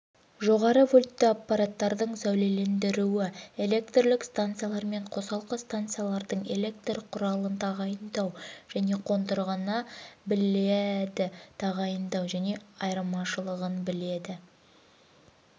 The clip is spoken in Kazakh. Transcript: жоғары вольтті аппараттардың сәулелендіруі электрлік станциялар мен қосалқы станциялардың электр құралын тағайындау және қондырғыны біледі тағайындау және айырмашылығын біледі